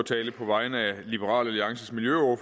for liberal alliance